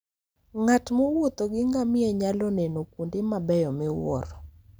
Ng'at mowuotho gi ngamia nyalo neno kuonde mabeyo miwuoro.